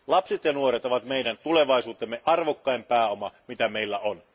Lapset ja nuoret ovat meidän tulevaisuutemme, arvokkain pääoma, joka meillä on.